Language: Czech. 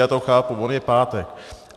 Já to chápu, on je pátek.